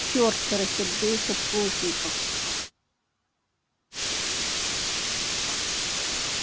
черт рассердился плужников